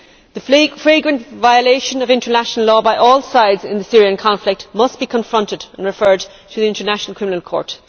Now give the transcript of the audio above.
The flagrant violation of international law by all sides in the Syrian conflict must be confronted and referred to the International Criminal Court.